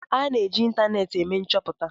A na-eji ịntanetị eme nchoputa